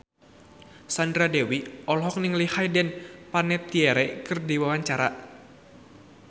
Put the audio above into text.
Sandra Dewi olohok ningali Hayden Panettiere keur diwawancara